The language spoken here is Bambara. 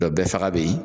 bɛɛ faga bɛ yen